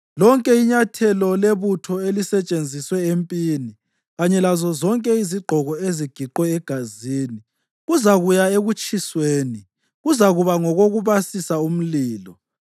Lonke inyathela lebutho elisetshenziswe empini, kanye lazozonke izigqoko ezigiqwe egazini kuzakuya ekutshisweni; kuzakuba ngokokubasisa umlilo.